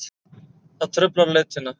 Það truflar leitina.